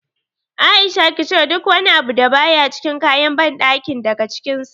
A'isha ki cire duk wani abu da baya cikin kayan banɗakin daga cikin sa.